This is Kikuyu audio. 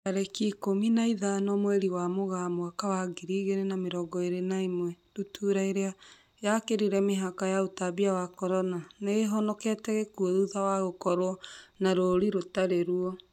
Tarĩki ikũmi na ithano mweri wa Mũgaa mwaka wa ngiri igĩrĩ na mĩrongo ĩrĩ na ĩmwe, ndutura ĩrĩa yakĩrire mĩhaka ya ũtambia wa Corona, nĩihonokete gĩkuo thutha wa gũkorwo na rũri rũtari ruo